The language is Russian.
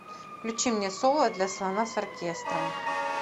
включи мне соло для слона с оркестром